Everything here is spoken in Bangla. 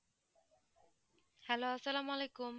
hello সালামালাইকুম